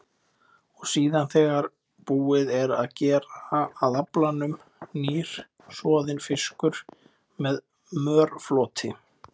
Og síðan, þegar búið er að gera að aflanum, nýr, soðinn fiskur með mörfloti.